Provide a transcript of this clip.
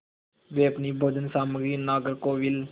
वे अपनी भोजन सामग्री नागरकोविल